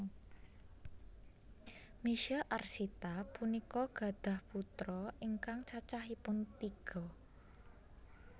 Misye Arsita punika gadhah putra ingkang cacahipun tiga